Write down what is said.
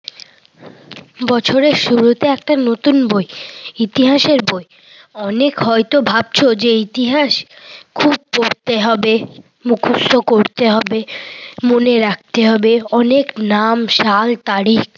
বছরের শুরুতে একটা নতুন বই। ইতিহাসের বই। অনেক হয়ত ভাবছ যে ইতিহাস খুব পড়তে হবে, মুখস্ত করতে হবে, মনে রাখতে হবে অনেক নাম, সাল, তারিখ।